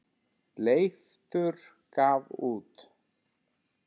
Leiftur gaf út.